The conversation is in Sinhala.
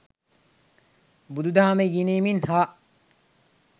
බුදුදහම ඉගෙනීමෙන් හා